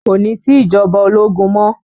Kò ní sí ìjọba ológun mọ́.